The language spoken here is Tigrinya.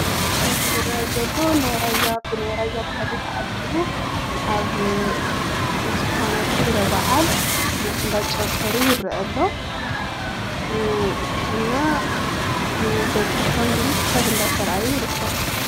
እቲ ዝረአ ዘሎ ናይ ራያ ብናይ ራያ ባህሊ ተዓጂቡ ኣብ ዝኮነ ክብረ በዓል እንዳጨፈሩ ይረአ ኣሎ። እና እቲ በዝሒ ሰብ ቡዝሕ ሰብ እንዳተረኣየ ይርከብ።